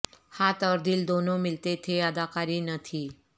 ہاتھ اور دل دونوں ملتے تھے اداکاری نہ تھی